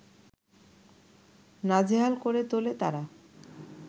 নাজেহাল করে তোলে তারা